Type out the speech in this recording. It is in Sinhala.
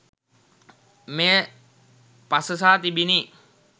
මෙය පසසා තිබිණි